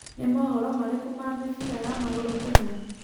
nĩ mohoro marĩkũ ma mĩbĩra ya maguru kenya